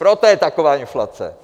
Proto je taková inflace.